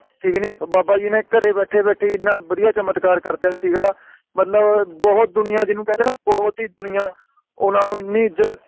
ਸੀਗੀ ਨੀ ਬਾਬਾ ਜੀ ਨੇ ਘਰੇ ਬੈਠੇ ਬੈਠੇ ਹੀ ਇਨ੍ਹਾਂ ਵਧੀਆ ਚਮਤਕਾਰ ਕਰਤਾ ਸੀਗਾ ਮਤਲਬ ਬਹੁਤ ਦੁਨੀਆਂ ਜਿਨੂੰ ਕਹਿੰਦੇ ਨੇ ਬਹੁਤ ਹੀ ਦੁਨੀਆਂ ਓਹਨਾ ਨੂੰ ਇੰਨੀ ਇਜ਼ਤ ਸੀ